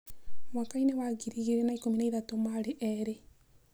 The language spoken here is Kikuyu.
Mwaka-inĩ wa 2013 marĩ erĩ.